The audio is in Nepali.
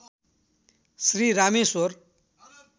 श्री रामेश्वर